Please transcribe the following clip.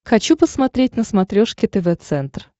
хочу посмотреть на смотрешке тв центр